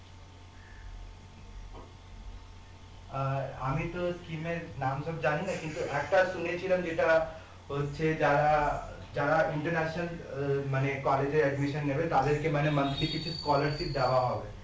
আর আমিতো scheme এর নাম সব জানিনা কিন্তু একটা শুনেছিলাম যেটা হচ্ছে যারা যারা international আহ মানে college এ admission নেবে তাদেরকে মানে monthly কিছু scholarship দেওয়া হবে